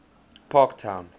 parktown